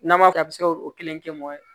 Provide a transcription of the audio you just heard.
N'a ma kɛ a bɛ se k'o kelen kɛ mɔgɔ ye